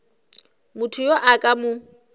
motho yo a ka mo